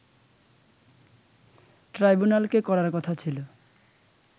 ট্রাইব্যুনালকে করার কথা ছিল